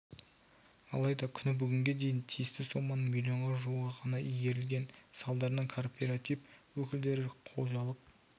алайда күні бүгінге дейін тиісті соманың миллионға жуығы ғана игерілген салдарынан кооператив өкілдері мен қожалық